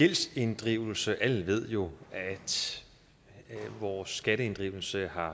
gældsinddrivelse alle ved jo at vores skatteinddrivelse